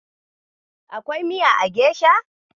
Akwai miya a gesha.